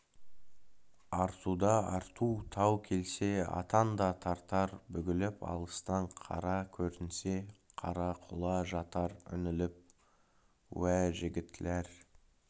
артуда арту тау келсе атан да тартар бүгіліп алыстан қара көрінсе қарақұла жатар үңіліп уа жігітләр